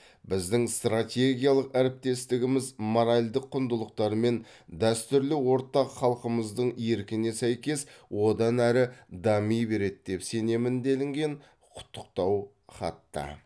біздің стратегиялық әріптестігіміз моральдік құндылықтары мен дәстүрлі ортақ халқымыздың еркіне сәйкес одан әрі дами береді деп сенемін делінген құттықтау хатта